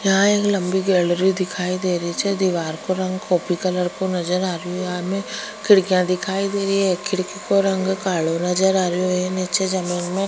यहाँ एक लम्बी गैलरी दिखाई देरी छे दिवार को रंग कॉफी कलर को नजर आरो यहाँ में खिड़किया दिखाई देरी है खिड़किया को रंग कालो नजर आ रियो है निचे जमींन में --